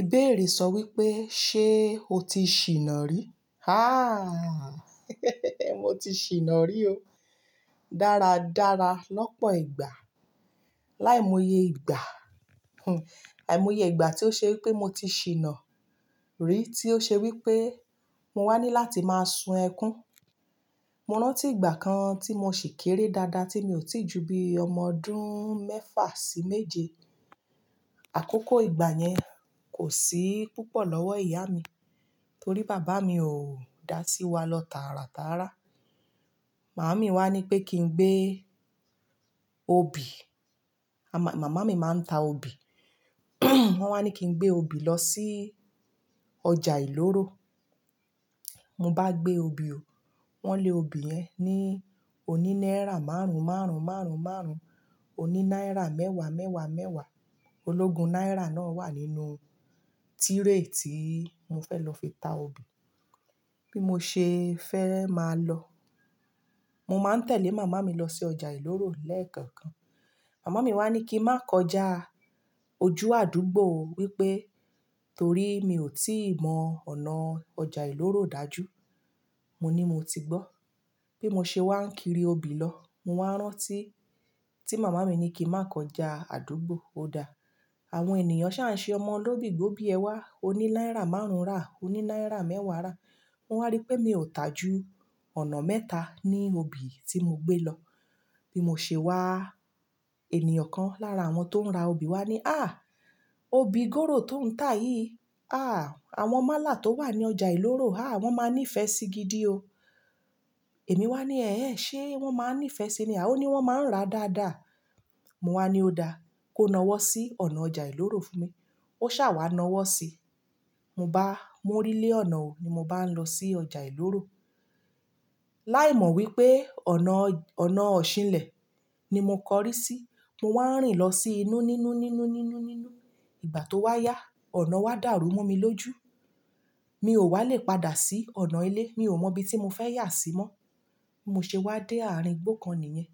Ìbéèrè sọ wípé ṣé o ti ṣìnà rí? Mo ti ṣìnà rí o, dáradára lọ́pọ̀ ìgbà. Láìmọye ìgbà àìmọye ìgbà tí ó ṣe wípé mo ti ṣìnà rí, tí ó ṣe wípé mo wá ní láti máa sun ẹkún. Mo rántí ìgbà kan tí mo ṣì kéré dáadáa tí mi ò tíì ju bí ọmọdún mẹ́fà sí méje. Àkókò ìgbà yẹn kò sí púpọ̀ lọ́wọ́ ìyá mi, torí bàbá mi ò dá sí wa lọ táratára. Màmá mi wá ní pé kí n gbé obì. Màmá mi máa ń ta obì. Wọ́n wá ní kí n gbé obì lọ sí ọjà ìloro. Mo bá gbé obì o, wọ́n lé obì yẹn ní oní náírà márùn-ún márùn-ún márùn-ún márùn-ún, oní náírà mẹ́wàá mẹ́wàá mẹ́wàá. Ológun náírà náà wà nínú tírè tí mo fẹ́ lọ fi ta obì. Bí mo ṣe fẹ́ máa lọ. Mo máa ń tẹ̀lé màmá mi lọ sí ọjà ìloro lẹ́ẹ̀kọ̀kan. Màmá mi wá ní kí n má kọjá ojú àdúgbò wípé torí mi ò tí mọ ọ̀nà ọjà ìloro dájú mo ní mo ti gbọ́. Bí mo ṣe wá ń kiri obì lọ, mo wá rántí tí màmá mi ní kí n má kọjá àdúgbò. Ó dáa, àwọn ènìyàn ń sáà ṣe ọmọ olóbì gbé obì ẹ wá oní náírà márùn-ún rà, oní náírà mẹ́wàá rà. Mo wáá rí pé mi ò ta ju ọ̀nà mẹ́ta ni obì tí mo gbé lọ. Bí mo ṣe wá, ènìyàn kan lára àwọn tó ń ra obì wá ní, "obì gòró tó ń tà yìí, àwọn málà tó wà ní ọjà ìloro, wọ́n máa ní ìfẹ́ sí i gidi o." Èmi wá ní, "ṣe wọ́n máa ń ní ìfẹ́ sí i ni? A ò ní wọ́n máa ń ra dáadáa." Mo wá ní ó dáa, kó nawọ́ sí ọ̀nà ọjà ìloro fún mi. Ó sá wá nawọ́ si. Mo bá mórí lé ọ̀nà ni mo báà lọ sí ọjà ìloro. Láìmọ̀ wípé ọ̀nà òṣìnlẹ̀ ni mo kọrí sí, mo wá ń rìn lọ sí inú nínú nínú nínú nínú. Ìgbà tó wá yá, ọ̀nà wá dàrú mú mi lójú. Mi ò wá lè padà sí ọ̀nà ilé. Mi ò mọ ibi tí mo fẹ́ yà sí mọ́. Mo ṣe wá dé àárín igbó kan nìyẹn.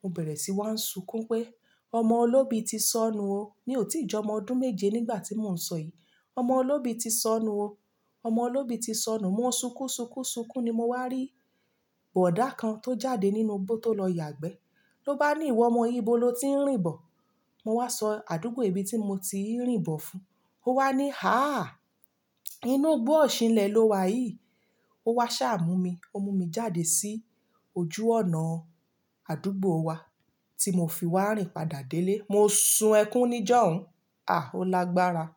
Mo bẹ̀rẹ̀ sí i wá ń sunkún pé ọmọ olóbi ti sọnù o. Mi ò tíì jọ ọmọ ọdún méje nígbà tí mò ń sọ yìí. Ọmọ olóbi ti sọnù o. Ọmọ olóbi ti sọnù. Mo o sunkún sunkún sunkún ni mo wá rí bọ̀dá kan tó jáde nínú igbó tó lọ yàgbẹ́. Lo bá ní, "ìwọ ọmọ yìí ibo lo ti ń rìn bọ̀?" Mo wá sọ àdúgbò ibi tí mo ti ń rìn bọ̀ fún un. Ó wá ní inú igbó òṣìnlẹ̀ lo wà yìí. Ó wá sá mú mi. Ó mú mi jáde sí ojú ọ̀nà àdúgbò wa tí mo fi wá ń rìn padà délé. Mo sun ẹkún níjọ́hun. À, ó lágbára.